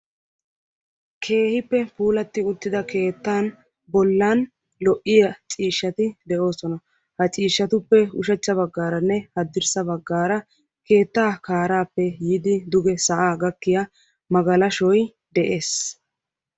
Keehippe puulatti uttida keettan bollan lo"iya ciishshati de"oosona. Ha ciishshatuppe ushachcha baggaaranne haddirssa baggaara keetta kaaraappe yiidi duge sa'aa gakkiya magalashoy de'ees.